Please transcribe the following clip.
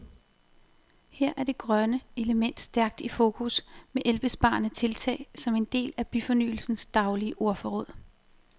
Her er det grønne element stærkt i fokus, med elbesparende tiltag som en del af byfornyelsens daglige ordforråd.